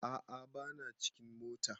A'a ba na cikin mota